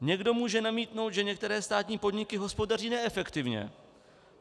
Někdo může namítnout, že některé státní podniky hospodaří neefektivně.